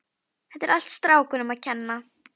Þetta er allt strákunum að kenna.